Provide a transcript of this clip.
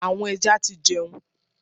Àwọn ẹja ti jẹun.